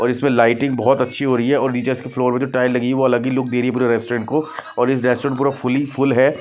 और इसमें लाइटिंग बहुत अच्छी हो रही है और नीचे इसके फ्लोर में जो टाइल लगी है वो अलग ही लुक दे रही है पूरे रेस्टोरेंट को और ये रेस्टोरेंट पूरा फुली फुल है।